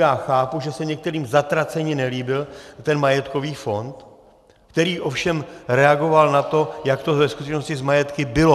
Já chápu, že se některým zatraceně nelíbil ten majetkový fond, který ovšem reagoval na to, jak to ve skutečnosti s majetky bylo.